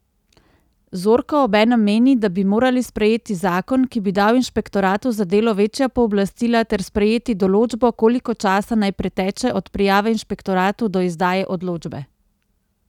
Zorko obenem meni, da bi morali sprejeti zakon, ki bi dal inšpektoratu za delo večja pooblastila ter sprejeti določbo, koliko časa naj preteče od prijave inšpektoratu do izdaje odločbe.